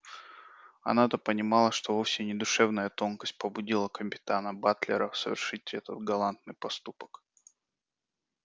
она-то понимала что вовсе не душевная тонкость побудила капитана батлера совершить этот галантный поступок